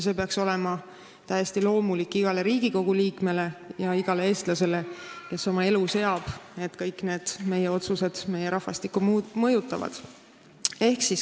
See peaks olema täiesti loomulik iga Riigikogu liikme ja iga eestlase jaoks, kes oma elu seab, et kõik meie otsused mõjutavad meie rahvastikku.